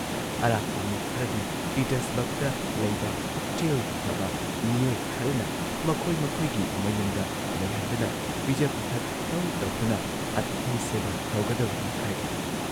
ꯑꯔꯥꯛꯄ ꯃꯤ ꯈꯔꯗꯤ ꯄꯤꯇꯔꯁꯕꯔꯒꯇ ꯂꯩꯕ ꯄꯨꯛꯆꯦꯜ ꯐꯕ ꯃꯤꯑꯣꯏ ꯈꯔꯅ ꯃꯈꯣꯏ ꯃꯈꯣꯏꯒꯤ ꯃꯌꯨꯝꯗ ꯂꯩꯍꯟꯗꯨꯅ ꯄꯤꯖ ꯄꯤꯊꯛ ꯇꯧ ꯇꯧꯗꯨꯅ ꯑꯇꯤꯊꯤ ꯁꯦꯕꯥ ꯇꯧꯒꯗꯕꯅꯤ ꯍꯥꯏꯔꯤ ꯫